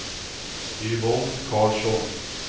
Yvonne Karlsson